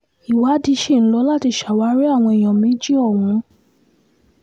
ìwádìí sì ń lò láti ṣàwárí àwọn èèyàn méjì ọ̀hún